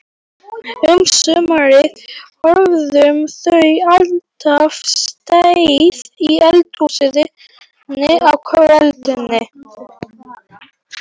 Um sumarið höfðu þau alltaf setið í eldhúsinu á kvöldin.